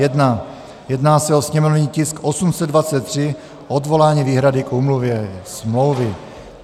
Jedná se o sněmovní tisk 823, odvolání výhrady k úmluvě, smlouvy.